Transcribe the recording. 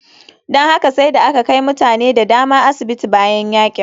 Don haka sai da aka kai mutane da dama asibiti bayan yakin.